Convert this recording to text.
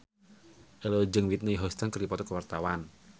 Ello jeung Whitney Houston keur dipoto ku wartawan